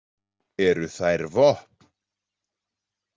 Eru þær vopn?